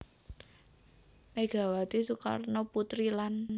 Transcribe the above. Megawati Soekarnoputri lan